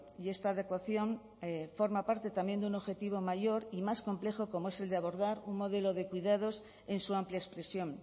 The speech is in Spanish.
y esta adecuación forma parte también de un objetivo mayor y más complejo como es el de abordar un modelo de cuidados en su amplia expresión